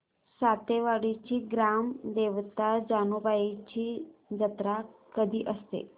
सातेवाडीची ग्राम देवता जानुबाईची जत्रा कधी असते